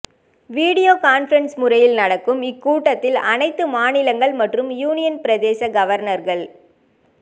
video conferencing முறையில் நடக்கும் இக்கூட்டத்தில் அனைத்து மாநிலங்கள் மற்றும் யூனியன் பிரதேச கவர்னர்கள்